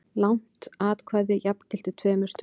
Langt atkvæði jafngilti tveimur stuttum.